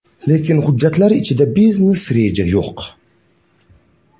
Lekin hujjatlar ichida biznes reja yo‘q.